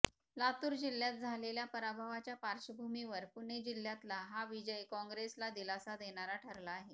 लातूर जिल्ह्यात झालेल्या पराभवाच्या पार्श्वभूमीवर पुणे जिल्ह्यातला हा विजय कॉंग्रेसला दिलासा देणारा ठरला आहे